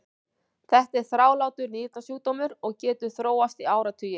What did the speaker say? Þetta er þrálátur nýrnasjúkdómur og getur þróast í áratugi.